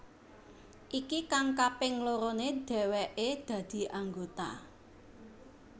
Iki kang kaping lorone dheweke dadi anggota